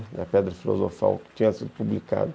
É a pedra filosofal que tinha sido publicada.